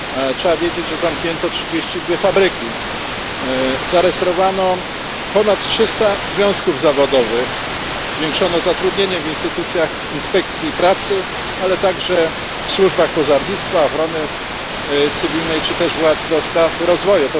Trzeba wiedzieć, że zamknięto 32 fabryki, zarejestrowano ponad 300 związków zawodowych, zwiększono zatrudnienie w instytucjach inspekcji pracy, ale także w służbach pożarnictwa, ochrony cywilnej czy też władz do spraw rozwoju.